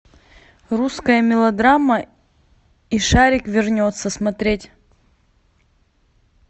русская мелодрама и шарик вернется смотреть